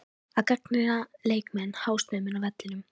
Að gagnrýna leikmenn hástöfum inni á vellinum?